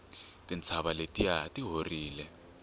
tintshava letiya ti horile